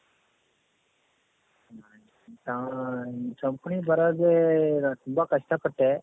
ನಾನ್ companyಗೆ ಬರಕ್ಕೆ ತುಂಬಾ ಕಷ್ಟ ಪಟ್ಟೆ